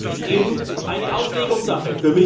Aber das ist eben eine Auslegungssache.